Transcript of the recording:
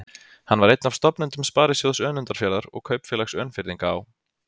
Hann var einn af stofnendum Sparisjóðs Önundarfjarðar og Kaupfélags Önfirðinga á